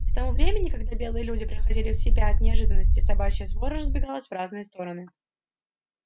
к тому времени когда белые люди приходили в себя от неожиданности собачья свора разбегалась в разные стороны